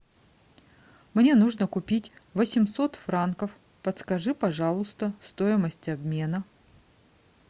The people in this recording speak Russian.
мне нужно купить восемьсот франков подскажи пожалуйста стоимость обмена